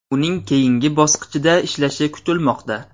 Uning keyingi bosqichda ishlashi kutilmoqda.